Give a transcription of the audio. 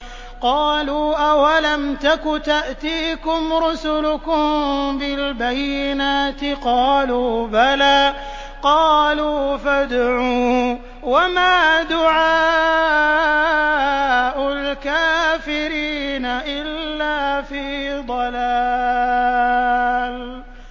قَالُوا أَوَلَمْ تَكُ تَأْتِيكُمْ رُسُلُكُم بِالْبَيِّنَاتِ ۖ قَالُوا بَلَىٰ ۚ قَالُوا فَادْعُوا ۗ وَمَا دُعَاءُ الْكَافِرِينَ إِلَّا فِي ضَلَالٍ